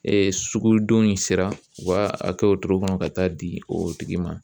Ee sugudon in sera u b'a a kɛ o togo kɔnɔ ka taa di o tigi ma